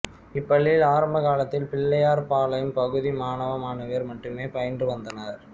இப்பள்ளியில் ஆரம்ப காலத்தில் பிள்ளையார் பாளையம் பகுதி மாணவ மாணவியர் மட்டுமே பயின்று வந்தனர்